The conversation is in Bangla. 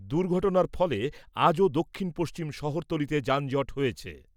দুর্ঘটনার ফলে আজও দক্ষিণ পশ্চিম শহরতলিতে যানজট হয়েছে।